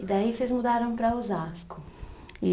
E daí vocês mudaram para Osasco.